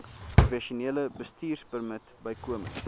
professionele bestuurpermit bykomend